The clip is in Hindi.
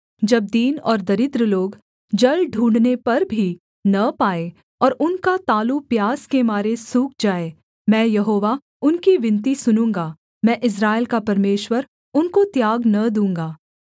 जब दीन और दरिद्र लोग जल ढूँढ़ने पर भी न पाएँ और उनका तालू प्यास के मारे सूख जाये मैं यहोवा उनकी विनती सुनूँगा मैं इस्राएल का परमेश्वर उनको त्याग न दूँगा